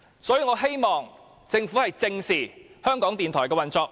所以，我希望政府正視港台的運作。